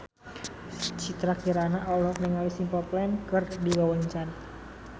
Citra Kirana olohok ningali Simple Plan keur diwawancara